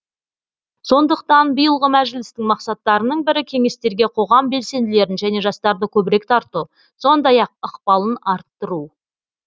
сондықтан биылғы мәжілістің мақсаттарының бірі кеңестерге қоғам белсенділерін және жастарды көбірек тарту сондай ақ ықпалын арттыру